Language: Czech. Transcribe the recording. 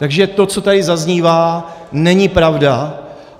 Takže to, co tady zaznívá, není pravda.